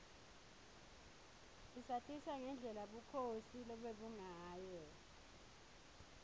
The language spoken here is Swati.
isatisa ngendlela bukhosi lobebungayo